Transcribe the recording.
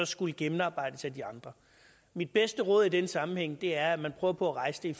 skulle gennemarbejdes af de andre mit bedste råd i den sammenhæng er at man prøver på at rejse det